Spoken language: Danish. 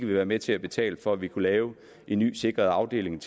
være med til at betale for at vi kunne lave en ny sikret afdeling